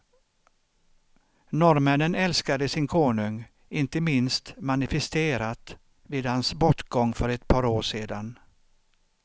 Norrmännen älskade sin konung, inte minst manifisterat vid hans bortgång för ett par år sedan.